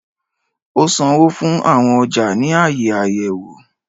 O sánwọ fún awọn ọja ni aaye ayẹwo.